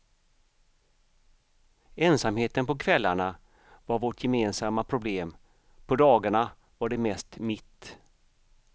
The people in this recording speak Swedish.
Ensamheten på kvällarna var vårt gemensamma problem, på dagarna var det mest mitt.